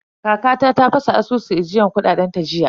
Kakata ta fasa asusun ajiyar kuɗaɗen ta jiya.